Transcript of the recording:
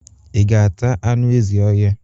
Ị ga-ata anụ ezi ọhia?